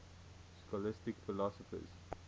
scholastic philosophers